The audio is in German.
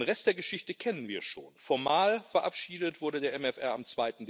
Den Rest der Geschichte kennen wir schon Formal verabschiedet wurde der MFR am